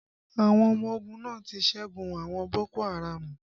Àwọn ọmọ ogun náà ti ṣẹ́gun àwọn boko haraamu